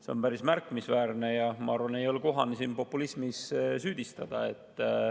See on päris märkimisväärne ja ma arvan, et ei ole kohane siin populismis süüdistada.